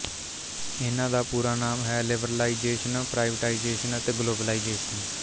ਇਹਨਾਂ ਦਾ ਪੂਰਾ ਨਾਮ ਹੈ ਲਿਬਰਲਾਈਜ਼ੇਸ਼ਨ ਪਰਾਈਵਟਾਈਜ਼ੇਸ਼ਨ ਅਤੇ ਗਲੋਬਲਾਈਜੇਸ਼ਨ